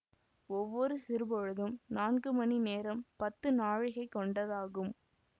ஒவ்வொரு சிறுபொழுதும் நான்கு மணி நேரம்பத்து நாழிகை கொண்டதாகும்